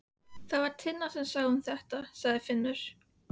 Það var Tinna sem sá um þetta, sagði Finnur.